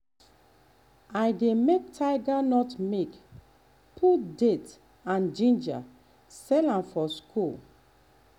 i dey make tiger nut milk put date and ginger sell am for school.